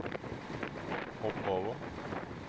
hopp over